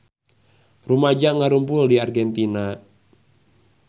Rumaja ngarumpul di Argentina